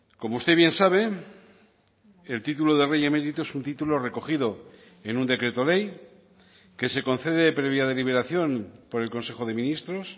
como usted bien sabe el título de rey emérito es un título recogido en un decreto ley que se concede previa deliberación por el consejo de ministros